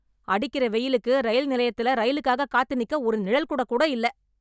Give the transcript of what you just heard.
அடிக்கிற வெயிலுக்கு ரயில் நிலையத்துல ரயிலுக்காக காத்து நிக்க ஒரு நிழல் குடை கூட இல்ல.